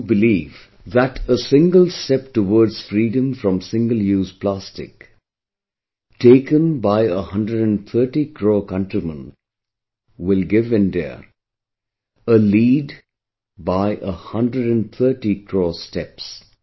I do believe that a single step towards freedom from single use plastic taken by 130 crore countrymen will give India a lead by a 130 crore steps